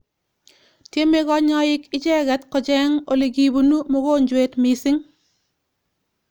Tiemei kanyaik icheket kocheeng olikipunu mogonjwet missing.